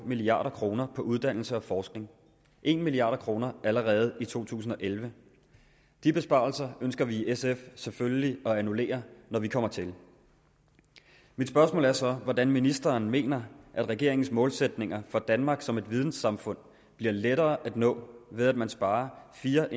milliard kroner på uddannelse og forskning en milliard kroner allerede i to tusind og elleve de besparelser ønsker vi i sf selvfølgelig at annullere når vi kommer til mit spørgsmål er så hvordan ministeren mener at regeringens målsætninger for danmark som et vidensamfund bliver lettere at nå ved at man sparer fire